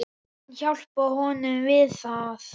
Hún hjálpar honum við það.